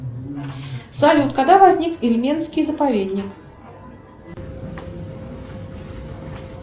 салют когда возник ильменский заповедник